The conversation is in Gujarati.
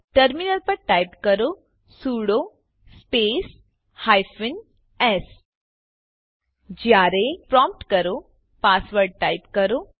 ટર્મીનલ પર ટાઈપ કરો સુડો સ્પેસ હાયફેન એસ જયારે પ્રોમ્પ્ટ કરો પાસવર્ડ ટાઈપ કરો